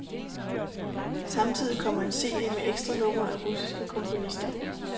Samtidig kommer en cd med ekstranumre af russiske komponister.